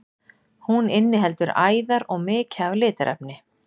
Hún inniheldur æðar og mikið af litarefni.